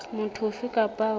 motho ofe kapa ofe eo